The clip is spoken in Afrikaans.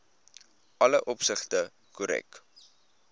alle opsigte korrek